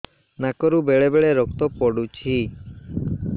ନାକରୁ ବେଳେ ବେଳେ ରକ୍ତ ପଡୁଛି